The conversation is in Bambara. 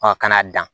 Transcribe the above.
kana dan